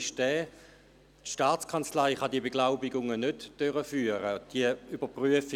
Die STA kann diese Beglaubigungen nicht durchführen.